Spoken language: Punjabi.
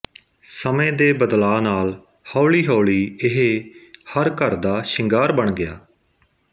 ਸਮੇਂ ਦੇ ਬਦਲਾ ਨਾਲ ਹੌਲੀ ਹੌਲੀ ਇਹ ਹਰ ਘਰ ਦਾ ਸ਼ਿੰਗਾਰ ਬਣ ਗਿਆ